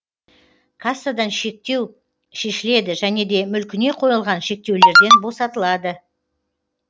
кассадан шектеу шешіледі және де мүлкіне қойылған шектеулерден босатылады